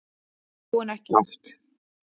Jú, en ekki oft.